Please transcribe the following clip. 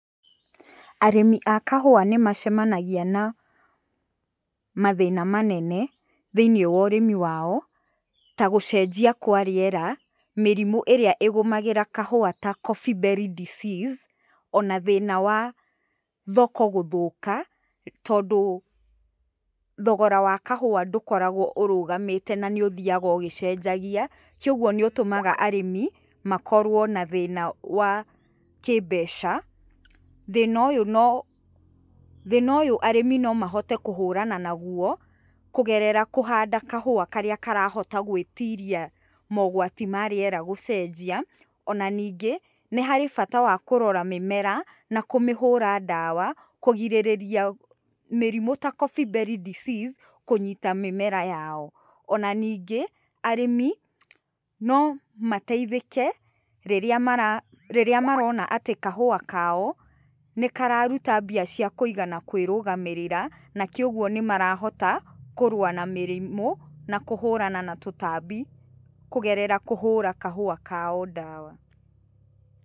Arĩmi a kahũa nĩ macemanagia na mathĩna manene thĩiniĩ wa ũrĩmi wao ta gũcenjia kwa rĩera, mĩrimũ ĩrĩa ĩgũmagĩra kahũa ta Coffee Berry Disease, ona thĩna wa thoko gũthũka, tondũ thogora wa kahũa ndũkoragwo ũrũgamĩte na nĩ ũthiaga ũgĩcenjagia, koguo nĩ ũtũmaga arĩmi makorwo na thĩna wa kĩmbeca. Thĩna ũyũ no, thĩna ũyũ arĩmi no mahote kũhũrana naguo kũgerera kũhanda kahũa karĩa karahota gwĩtiria mogwati ma rĩera gũcenjia. Ona ningĩ, nĩ harĩ bata wa kũrora mĩmera na kũmĩhũra ndawa, kũgirĩrĩria mĩrimũ ta Coffee Berry Disease kũnyita mĩmera yao. Ona ningĩ, arĩmi no mateithĩke rĩrĩa marona atĩ kahũa kao nĩ kararuta mbia cia kũiga kũĩrũgamĩrĩra, nakĩ ũguo nĩ marahota kũrũa na mĩrimũ na kũhũrana na tũtambi, kũgerera kũhũra kahũa kao ndawa.